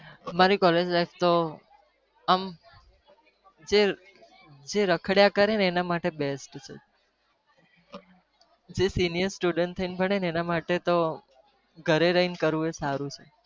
અમારી collge life તો આમ જે રખડ્યા કરે, એના માટે તો best છે જે serious student થઇ ને ભણે તો એના માટે તો ઘરે રહીને કરવું એ સારું છે.